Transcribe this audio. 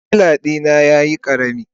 sikila dina yayi karami.